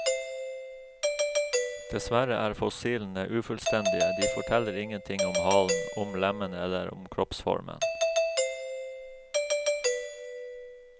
Dessverre er fossilene ufullstendige, de forteller ingenting om halen, om lemmene eller om kroppsformen.